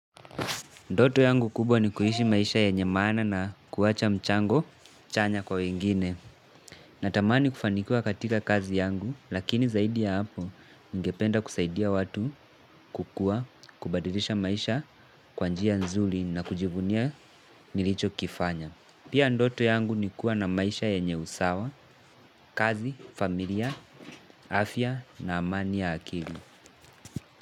Ndoto yangu kubwa ni kuishi maisha yenye maana na kuwacha mchango chanya kwa wengine. Natamani kufanikiwa katika kazi yangu lakini zaidi ya hapo ningependa kusaidia watu kukua, kubadilisha maisha kwa njia nzuri na kujivunia nilicho kifanya. Pia ndoto yangu ni kuwa na maisha yenye usawa, kazi, familia, afya na amani ya akili.